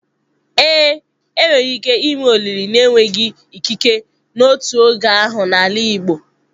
Ee, enwere ike ime olili na-enweghị ikike n'otu oge ahụ n'ala igbo.